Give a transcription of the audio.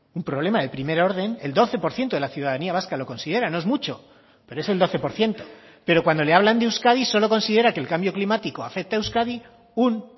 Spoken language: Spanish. un problema de primer orden el doce por ciento de la ciudadanía vasca lo considera no es mucho pero es el doce por ciento pero cuando le hablan de euskadi solo considera que el cambio climático afecta a euskadi un